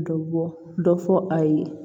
Dɔ bɔ dɔ fɔ a ye